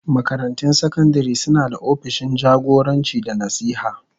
Makarantun sakandare suna da opishin jagoranci da nasiha.